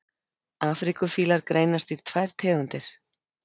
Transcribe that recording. afríkufílar greinast í tvær tegundir